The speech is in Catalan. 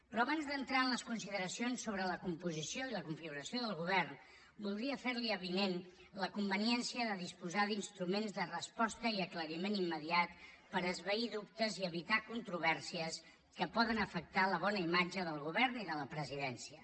però abans d’entrar en les consideracions sobre la composició i la configuració del govern voldria fer li avinent la conveniència de disposar d’instruments de resposta i aclariment immediat per esvair dubtes i evitar controvèrsies que poden afectar la bona imatge del govern i de la presidència